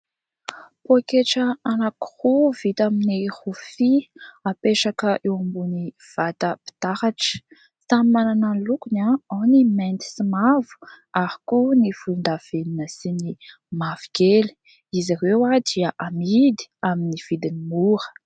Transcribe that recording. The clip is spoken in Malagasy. Pôketra anankiroa vita amin'ny rofia apetraka eo ambon'ny vata mpitaratra samy manana ny lokony ao ny mainty sy mavo ary koa ny volon-davenona sy ny mavokely, izy ireo dia amidy amin'ny vidiny mora.